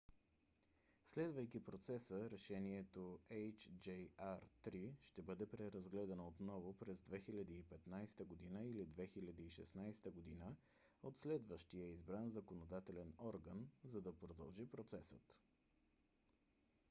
следвайки процеса решението hjr-3 ще бъде преразгледано отново през 2015 г. или 2016 г. от следващия избран законодателен орган за да продължи процесът